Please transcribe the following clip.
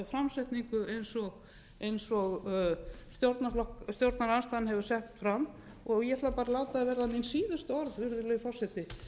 samsetningu eins og stjórnarandstaðan hefur sett fram ég ætla bara að láta það verða mín síðustu orð virðulegi forseti